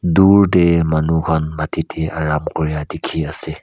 Tur tey manu kahn matetey rub kurea dekhe ase.